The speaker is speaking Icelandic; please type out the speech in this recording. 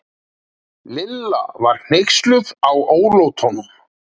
Lilla var hneyksluð á ólátunum.